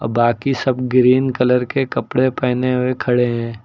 बाकी सब green colour के कपड़े पहने हुए खड़े हैं।